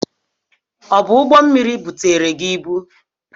Ọ bụ ụgbọmmiri butere gi ibu?